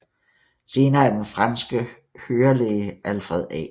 Senere er den franske hørelæge Alfred A